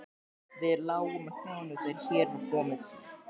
Við lágum á hnjánum þegar hér var komið.